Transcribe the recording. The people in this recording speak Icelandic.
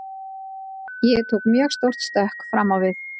Ég tók mjög stórt stökk fram á við.